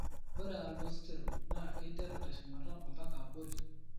Ore Aldosterone naa keiteru teshumata ombaka abori.